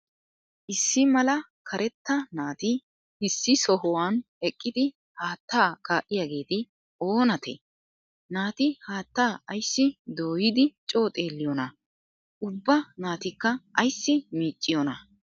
Issi malaa kareetaa naati issi sohuwan eqqidi haattaa ka'iyaageeti o naatee? Naati haattaa aysi doyyidi co xeeliyoonaa? Ubbaa naatikka aysi micciyoona?